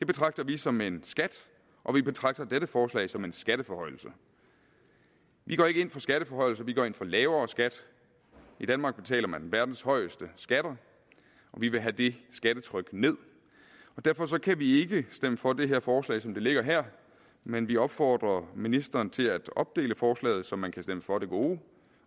betragter vi som en skat og vi betragter dette forslag som en skatteforhøjelse vi går ikke ind for skatteforhøjelser vi går ind for lavere skat i danmark betaler man verdens højeste skatter og vi vil have det skattetryk ned og derfor kan vi ikke stemme for det her forslag som det ligger her men vi opfordrer ministeren til at opdele forslaget så man kan stemme for det gode